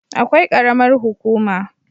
Akwai karamar hukuma